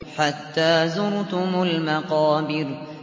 حَتَّىٰ زُرْتُمُ الْمَقَابِرَ